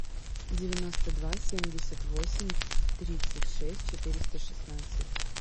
девяносто два семьдесят восемь тридцать шесть четыреста шестнадцать